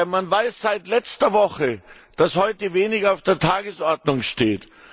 Man weiß seit letzter Woche, dass heute wenig auf der Tagesordnung steht.